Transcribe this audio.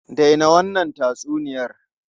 Dai na wannan tatsuniyar!